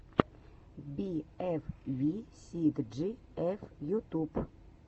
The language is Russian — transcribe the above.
би эф ви си джи эф ютуб